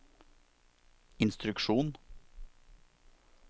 instruksjon